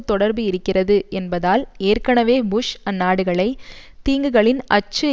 தொடர்பு இருக்கிறது என்பதால் ஏற்கனவே புஷ் அந்நாடுகளை தீங்குகளின் அச்சு